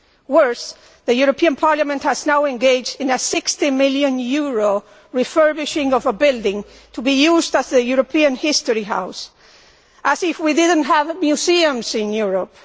Worse, the European Parliament has now engaged in a EUR 60 million refurbishment of a building to be used as the European History House as if we did not have museums in Europe.